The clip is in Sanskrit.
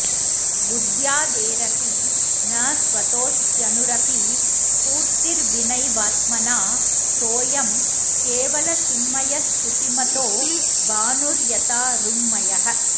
बुद्ध्यादेरपि न स्वतोऽस्त्यणुरपि स्फूर्तिर्विनैवात्मना सोऽयं केवलचिन्मयश्श्रुतिमतो भानुर्यथा रुङ्मयः